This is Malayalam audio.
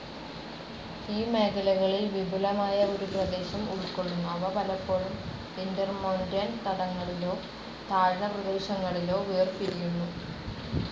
ഈ മേഖലകളിൽ വിപുലമായ ഒരു പ്രദേശം ഉൾക്കൊള്ളുന്നു, അവ പലപ്പോഴും ഇൻ്റർമോൻ്റെൻ തടങ്ങളിലോ താഴ്ന്ന പ്രദേശങ്ങളിലോ വേർപിരിയുന്നു.